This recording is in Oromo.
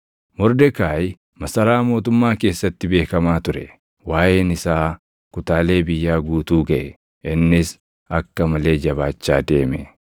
Mordekaayi masaraa mootummaa keessatti beekamaa ture; waaʼeen isaa kutaalee biyyaa guutuu gaʼe; innis akka malee jabaachaa deeme.